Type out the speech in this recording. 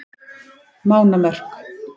Mánamörk